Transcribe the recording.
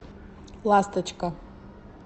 ласточка